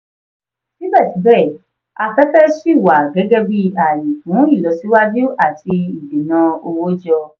síbẹ̀síbẹ̀ afẹ́fẹ́ ṣì wà gẹ́gẹ́ bí ààyè fún ìlọsíwájú àti ìdènà owó jọ.